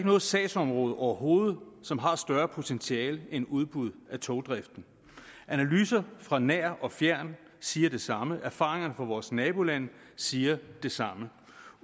noget sagsområde overhovedet som har større potentiale end udbud af togdriften analyser fra nær og fjern siger det samme og erfaringerne fra vores nabolande siger det samme